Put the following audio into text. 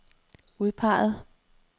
udpeget